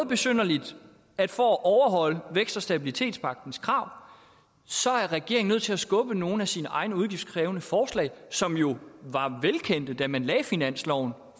besynderligt at for at overholde vækst og stabilitetspagtens krav er regeringen nødt til at skubbe nogle af sine egne udgiftskrævende forslag som jo var velkendte da man lagde finansloven